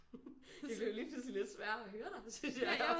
Det blev lige pludselig lidt sværere at høre dig synes jeg